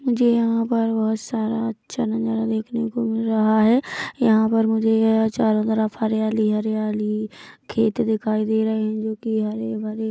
मुझे यहाँ पर बहुत सारा अच्छा नज़ारा देखने को मिल रहा है यहाँ पर यह मुझे चारो तरफ हरियाली हरियाली खेत दिखाई दे रहे हैं जो कि हरे भरे हैं।